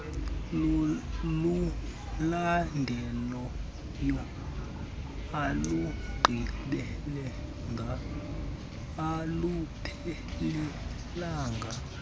lulandelayo alugqibelelanga aluphelelanga